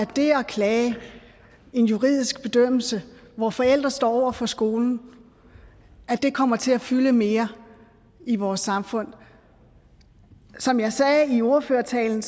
det at klage en juridisk bedømmelse hvor forældrene står over for skolen kommer til at fylde mere i vores samfund som jeg sagde i ordførertalen